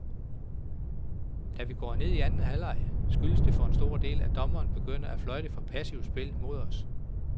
Da vi går ned i anden halvleg, skyldes det for en stor del, at dommerne begynder at fløjte for passivt spil mod os.